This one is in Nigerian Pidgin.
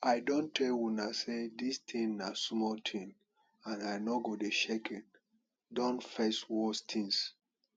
i don tell una say dis thing na small thing and i no go shakei don face worse things